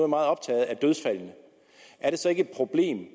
meget optaget af dødsfaldene er det så ikke et problem